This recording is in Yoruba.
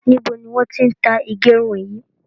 Níbo ni wọn ti ń tá ìgérun yìí?